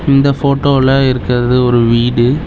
இந்த ஃபோட்டோல இருக்கிறது ஒரு வீடு.